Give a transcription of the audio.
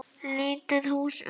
Lítið hús utan.